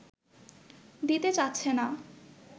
দিতে চাচ্ছে না